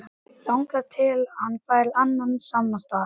Lánið fékk ég hins vegar aldrei.